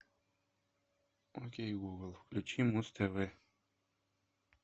окей гугл включи муз тв